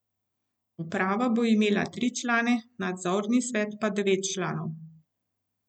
Uprava bo imela tri člane, nadzorni svet pa devet članov.